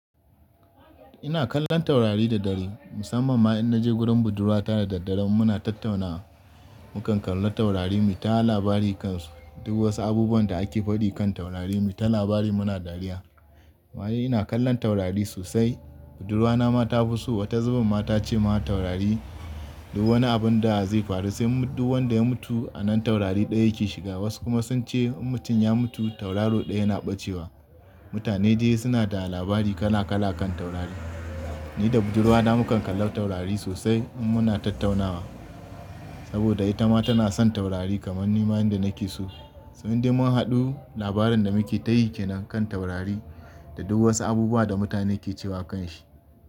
Ina kallon taurari da dare, musamman ma in naje gurin budurwa ta da daddare muna tattaunawa. Mukan kalla taurari mu ta labari kansu. Duk wasu abubuwan da ake faɗi kan taurari mu ta labari muna dariya. Wa yayi ina kallon taurari sosai. Budurwa na ma ta fi so. Wata zubin ma ta ce ma taurari duk wani abun da zai ya faru, sai duk wanda ya mutu a nan taurari ɗaya yake shiga. Wasu kuma sun ce in mutum ya mutu tauraro ɗaya yana ɓacewa. Mutane dai suna da labari kala kala kan taurari. Ni da budurwa na mu kan kalla taurari sosai in muna tattaunawa. Saboda ita ma tana son taurari kamar ni ma yanda nake so. Sai dai mun haɗu labarin da muke tayi ke nan kan taurari da duk wasu abubuwa da mutane ke cewa kanshi.